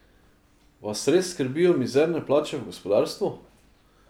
Vas res skrbijo mizerne plače v gospodarstvu?